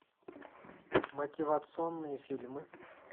мотивационные фильмы